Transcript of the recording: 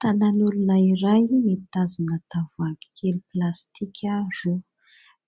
Tanan'olona iray mitazona tavoahangikely plastika roa,